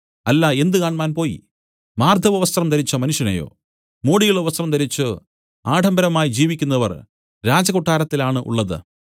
അല്ല എന്ത് കാണ്മാൻ പോയി മാർദ്ദവവസ്ത്രം ധരിച്ച മനുഷ്യനെയോ മോടിയുള്ള വസ്ത്രം ധരിച്ചു ആഡംബരമായി ജീവിക്കുന്നവർ രാജകൊട്ടരത്തിലാണ് ഉള്ളത്